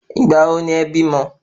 Ìgbà wo ni e bímọ?